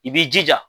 I b'i jija